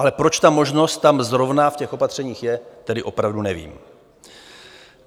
Ale proč ta možnost tam zrovna v těch opatřeních je, tedy opravdu nevím.